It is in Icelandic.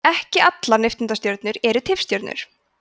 ekki allar nifteindastjörnur eru tifstjörnur